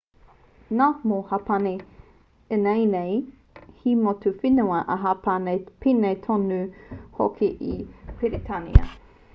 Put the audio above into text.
nā mō hapani ināianei he motu whenua a hapani pēnei tonu hoki i a peretānia